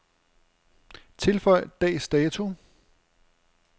Tilføj dags dato.